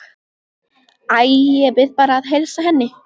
Æ, ég bið bara að heilsa henni